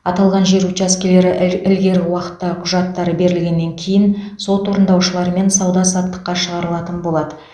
аталған жер учаскелері ілгері уақытта құжаттары берілгеннен кейін сот орындаушыларымен сауда саттыққа шығарылатын болады